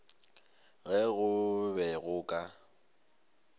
ge go be go ka